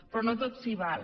però no tot s’hi val